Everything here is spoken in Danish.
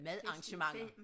Madarrangementer